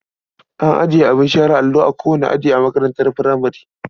An ajiye abin share allo a kowane aji a makarantar furamare.